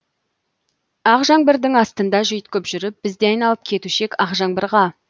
ақ жаңбырдың астында жүйткіп жүріп біз де айналып кетуші ек ақ жаңбырға